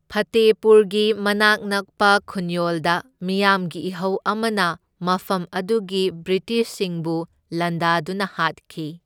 ꯐꯇꯦꯄꯨꯔꯒꯤ ꯃꯅꯥꯛ ꯅꯛꯄ ꯈꯨꯟꯌꯣꯜꯗ ꯃꯤꯌꯥꯝꯒꯤ ꯏꯍꯧ ꯑꯃꯅ ꯃꯐꯝ ꯑꯗꯨꯒꯤ ꯕ꯭ꯔꯤꯇꯤꯁꯁꯤꯡꯕꯨ ꯂꯥꯟꯗꯥꯗꯨꯅ ꯍꯥꯠꯈꯤ꯫